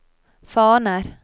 faner